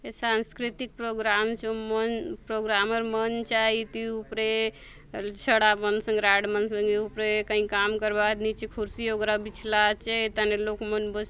ये सांस्कृतिक प्रोग्राम र चो मन प्रोग्राम र मंच आय इति ऊपरे छड़ा मन संगे रॉड मन संगे ऊपरे काई काम करवा आत नीचे कुर्सी वगैरा बिछला आचे ए थाने लोग मन बस --